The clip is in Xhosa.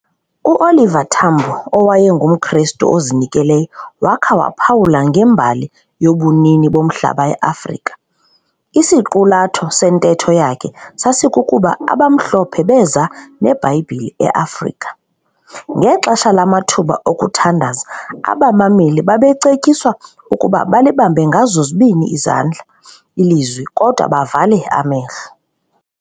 UOliver Tambo owayengumKrestu ozinikeleyo wakha waphawula ngembali yobunini bomhlaba eAfrika. Isiqulatho sentetho yakhe sasikukuba abaMhlophe beza neBhayibhile eAfrika. Ngexesha lamathuba okuthandaza abamameli babecetyiswa ukuba balibambe ngazo zozibini izandla iLizwi kodwa bavale amehlo.